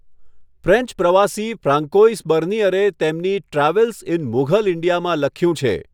French પ્રવાસી François બર્નિયરે તેમની ટ્રાવેલ્સ ઇન મુઘલ ઈન્ડિયામાં લખ્યું છે.